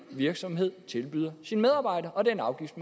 virksomhed tilbyder sine medarbejdere og den afgift